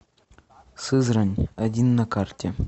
сызрань один на карте